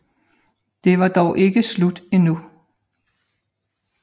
Det var dog ikke slut endnu